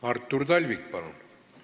Artur Talvik, palun!